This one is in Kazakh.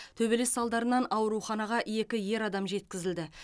төбелес салдарынан ауруханаға екі ер адам жеткізілді